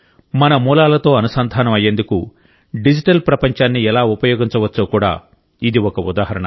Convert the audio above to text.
మన మూలాలతో అనుసంధానం అయ్యేందుకు డిజిటల్ ప్రపంచాన్ని ఎలా ఉపయోగించవచ్చో కూడా ఇది ఒక ఉదాహరణ